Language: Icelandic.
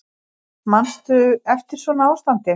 Manstu eftir svona ástandi?